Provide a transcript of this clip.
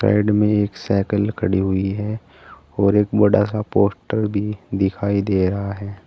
Side में एक cycle खड़ी हुई है और एक बड़ा सा पोस्टर भी दिखायी दे रहा है।